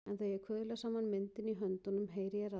En þegar ég kuðla saman myndinni í höndunum heyri ég raddir.